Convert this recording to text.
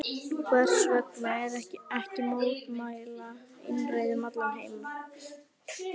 Hversvegna ekki mótmæla einræði um allan heim?